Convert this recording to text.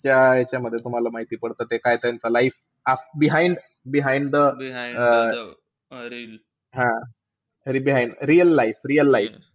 त्या यांच्यामध्ये तुम्हाला माहिती पडतं, ते काय त्यांचं life behind behind the um हा real life real life.